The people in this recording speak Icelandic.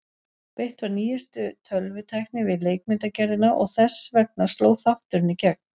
beitt var nýjustu tölvutækni við leikmyndagerðina og þess vegna sló þátturinn í gegn.